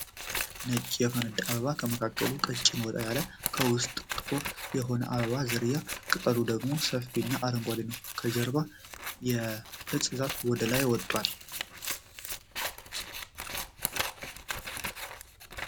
ነጭ የፈነዳ አበባ ከመካከሉ ቀጭን ወጣ ያለ ከዉስጥ ጥቁር የሆነ የአበባ ዝርያ ቅጠሉ ደግሞ ሰፊ እና አረንጓዴ ነዉ። ከጀርባ የፅድ ዛፍ ወደ ላይ ወጧል።